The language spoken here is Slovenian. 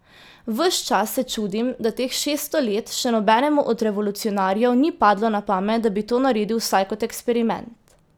Ves čas se čudim, da teh šeststo let še nobenemu od revolucionarjev ni padlo na pamet, da bi to naredil vsaj kot eksperiment.